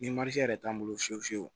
Ni yɛrɛ t'an bolo fiyewu fiyewu